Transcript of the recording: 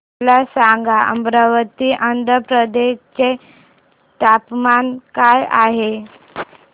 मला सांगा अमरावती आंध्र प्रदेश चे तापमान काय आहे